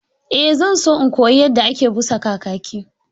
Eh, zan so in koyi yadda ake busa kakaki